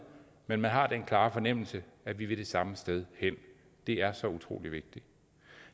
men man har den klare fornemmelse at vi vil det samme sted hen det er så utrolig vigtigt